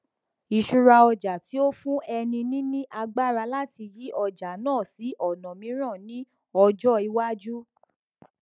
ìṣúra ọjà tí ó fún ẹni níní agbára láti yí ọjà náà sí ọnà mìíràn ní ọjọ ìwájú